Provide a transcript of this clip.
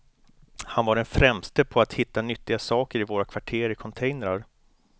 Han var den främste på att hitta nyttiga saker i våra kvarter i containrar.